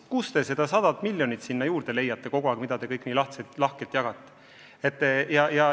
Kust te ikkagi leiate selle 100 miljonit, mida te kõik nii lahkelt jagate?